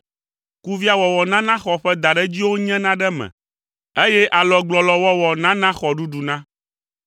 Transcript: Kuviawɔwɔ nana xɔ ƒe daɖedziwo nyena ɖe eme, eye alɔgblɔlɔwɔwɔ nana xɔ ɖuɖuna.